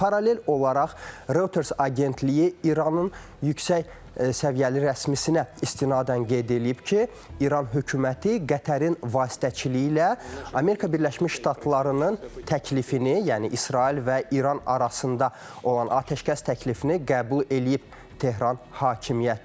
Paralel olaraq Reuters agentliyi İranın yüksək səviyyəli rəsmisinə istinadən qeyd eləyib ki, İran hökuməti Qətərin vasitəçiliyi ilə Amerika Birləşmiş Ştatlarının təklifini, yəni İsrail və İran arasında olan atəşkəs təklifini qəbul eləyib Tehran hakimiyyəti.